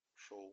шоу